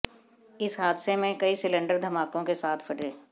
इस हादसे में कई सिलेंडर धमाकों के साथ फटे